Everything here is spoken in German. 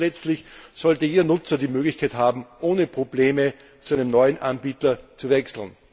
Drittens Letztlich sollte jeder Nutzer die Möglichkeit haben, ohne Probleme zu einem neuen Anbieter zu wechseln.